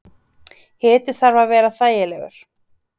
Hiti þarf að vera þægilegur.